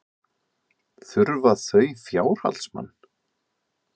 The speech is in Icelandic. Þurfa þau fjárhaldsmann?